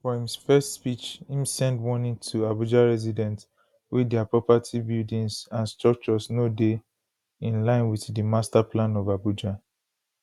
for im first speech im send warning to abuja residents wey dia properties buildings and structures no dey inline wit di masterplan of abuja